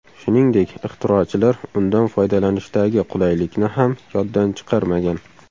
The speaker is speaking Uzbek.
Shuningdek, ixtirochilar undan foydalanishdagi qulaylikni ham yoddan chiqarmagan.